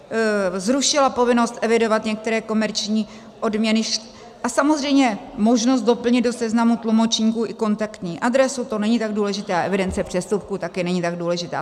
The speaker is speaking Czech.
Zrušila povinnost evidovat některé komerční odměny a samozřejmě možnost doplnit do seznamu tlumočníků i kontaktní adresu, to není tak důležité, a evidence přestupků, taky není tak důležitá.